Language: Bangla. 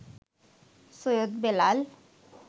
সৈয়দ বেলাল